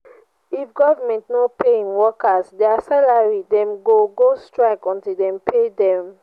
if government no pay em workers their salary dem go go strike until dem pay dem.